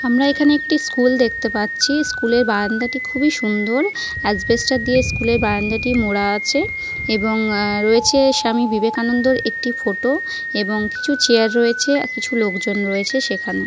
আমরা এখানে একটি স্কুল দেখতে পাচ্ছি। স্কুলের বারান্দাটি খুবই সুন্দর। অ্যাসবেসটস দিয়ে স্কুলের বারান্দাটি মোড়া আছে। এবং রয়েছে স্বামী বিবেকানন্দের একটি ফটো । এবং কিছু চেয়ার রয়েছে আর কিছু লোকজন রয়েছে সেখানে ।